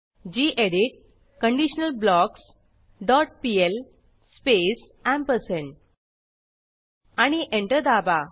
गेडीत conditional blocks dot pl space ampersand आणि enter दाबा